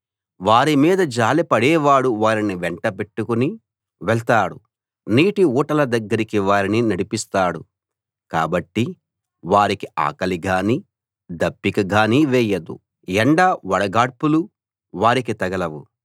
వారిమీద జాలిపడేవాడు వారిని వెంటపెట్టుకుని వెళ్తాడు నీటిఊటల దగ్గరికి వారిని నడిపిస్తాడు కాబట్టి వారికి ఆకలి గానీ దప్పిక గానీ వేయదు ఎండ వడగాడ్పులూ వారికి తగలవు